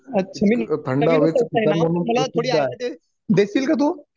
मी बघितलच नाही ना मला थोडी आयडिया देशिल का तू